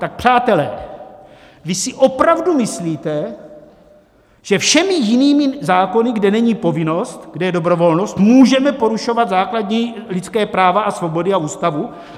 Tak přátelé, vy si opravdu myslíte, že všemi jinými zákony, kde není povinnost, kde je dobrovolnost, můžeme porušovat základní lidská práva a svobody a Ústavu?